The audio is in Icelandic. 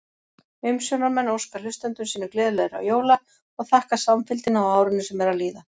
Umsjónarmenn óska hlustendum sínum gleðilegra jóla og þakka samfylgdina á árinu sem er að líða!